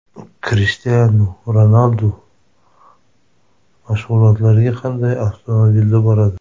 Krishtianu Ronaldu mashg‘ulotlarga qanday avtomobilda boradi?.